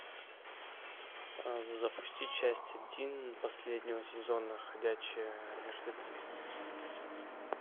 запусти часть один последнего сезона ходячие мертвецы